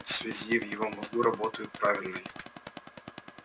в связи в его мозгу работают правильной